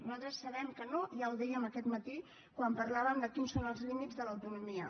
nosaltres sabem que no ja ho dèiem aquest matí quan parlàvem de quins són els límits de l’autonomia